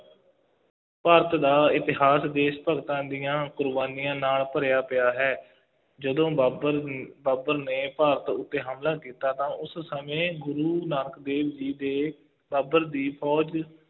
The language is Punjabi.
ਭਾਰਤ ਦਾ ਇਤਿਹਾਸ ਦੇਸ਼ ਭਗਤਾਂ ਦੀਆਂ ਕੁਰਬਾਨੀਆਂ ਨਾਲ ਭਰਿਆ ਪਿਆ ਹੈ, ਜਦੋਂ ਬਾਬਰ ਬਾਬਰ ਨੇ ਭਾਰਤ ਉੱਤੇ ਹਮਲਾ ਕੀਤਾ ਤਾਂ ਉਸ ਸਮੇਂ ਗੁਰੂ ਨਾਨਕ ਦੇਵ ਜੀ ਦੇ ਬਾਬਰ ਦੀ ਫੌਜ